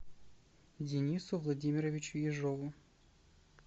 денису владимировичу ежову